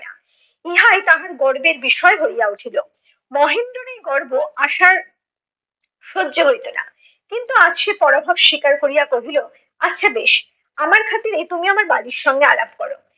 উহায় তাহার গর্বের বিষয় হইয়া উঠিল। মহেন্দ্রর এই গর্ব আশার সহ্য হইত না। কিন্তু আজ সে পরাভব স্বীকার করিয়া কহিল আচ্ছা বেশ, আমার খাতিরেই তুমি আমার বালির সঙ্গে আলাপ করো।